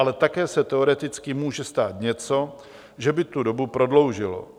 Ale také se teoreticky může stát něco, že by tu dobu prodloužilo.